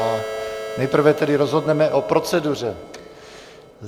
A nejprve tedy rozhodneme o proceduře.